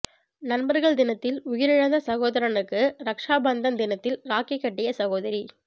நண்பர்கள் தினத்தில் உயிரிழந்த சகோதரனுக்கு ரக்சாபந்தன் தினத்தில் ராக்கி கட்டிய சகோதரி